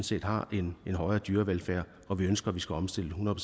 set har en højere dyrevelfærd og vi ønsker at vi skal omstille hundrede